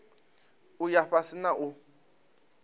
u ya fhasi na u